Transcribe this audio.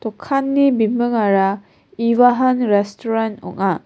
bimingara evahun restoren ong·a.